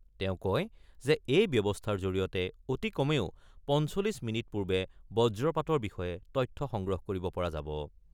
তেওঁ কয় যে এই ব্যৱস্থাৰ জৰিয়তে অতি কমেও ৪৫ মিনিট পূৰ্বে বজ্ৰপাতৰ বিষয়ে তথ্য সংগ্ৰহ কৰিব পৰা যাব।